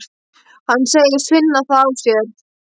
Hann segist finna það á sér.